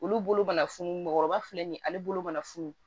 Olu bolo mana funu mɔgɔkɔrɔba filɛ nin ye ale bolo mana funu